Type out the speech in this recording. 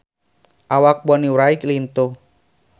Awak Bonnie Wright lintuh